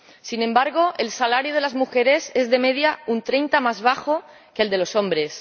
Sin embargo, el salario de las mujeres es, de media, un 30 más bajo que el de los hombres.